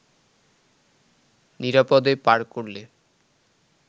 নিরাপদে পার করলে